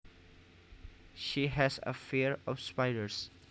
She has a fear of spiders